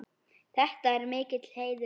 Þetta er mikill heiður.